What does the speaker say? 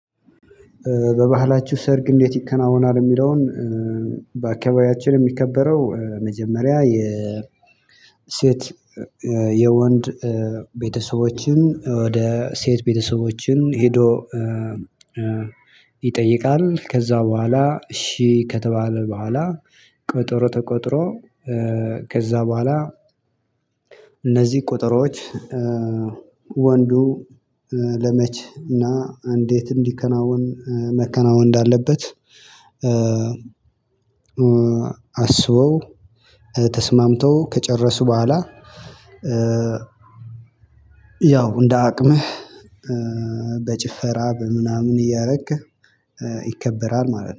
በባህላችሁ ሰርግ እንዴት ይከናወናል? የሚለውን በአካባቢያችን የሚከበረው መጀመሪያ የሴት የወንድ ቤተሰቦችን ወደ ሴት ቤተሰቦችን ሄዶ ይጠይቃል። ከዛ በኋላ እሺ ከተባለ በኋላ ቀጠሮ ተቀጥሮ ከዛ በኋላ። እነዚህ ቀጠሮች ወንዱ ለመች እና እንዴት እንዲከናወን መከናወን እንዳለበት። አስበው ተስማምተው ከጨረሱ በኋላ። ያው እንደ አቅምህ በጭፈራ በምናምን እያደረክ ይከበራል ማለት ነው